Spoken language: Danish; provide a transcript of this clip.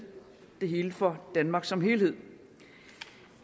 det hele for danmark som helhed